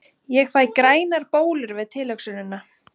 Ég fæ grænar bólur við tilhugsunina!